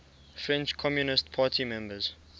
french communist party members